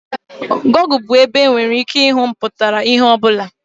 Gọgụ bụ ebe e nwere ike ịhụ mpụtara ihe ọ bụla.